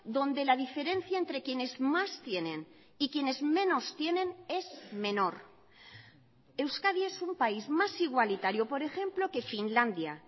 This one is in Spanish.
donde la diferencia entre quienes más tienen y quienes menos tienen es menor euskadi es un país más igualitario por ejemplo que finlandia